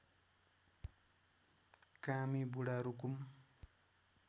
Kami Budha Rukum